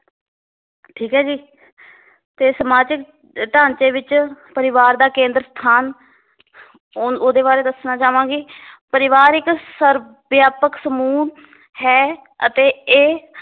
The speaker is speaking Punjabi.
ਠੀਕ ਏ ਜੀ ਤੇ ਸਮਾਜਿਕ ਢਾਂਚੇ ਵਿਚ ਪਰਿਵਾਰ ਦਾ ਕੇਂਦਰ ਸਥਾਨ ਹੁਣ ਓਹਦੇ ਬਾਰੇ ਦੱਸਣਾ ਚਾਵਾਂਗੀ ਪਰਿਵਾਰ ਇੱਕ ਸਰਵਵਿਆਪਕ ਸਮੂਹ ਹੈ ਅਤੇ ਇਹ